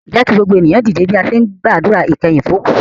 Jẹ́ kí gbogbo ènìyàn dìde bí a ṣe ń gbàdúrà ìkẹyìn fún òkú